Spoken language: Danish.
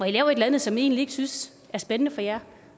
et eller andet som i egentlig ikke synes er spændende for jer